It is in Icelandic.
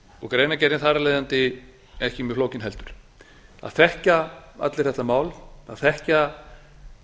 greinargerðin þar af leiðandi ekki mjög flókin heldur það þekkja allir þetta mál það þekkja